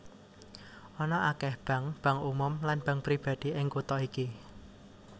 Ana akèh bank bank umum lan bank pribadi ing kutha iki